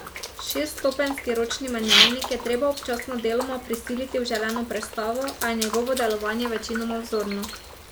Šeststopenjski ročni menjalnik je treba občasno deloma prisiliti v želeno prestavo, a je njegovo delovanje večinoma vzorno.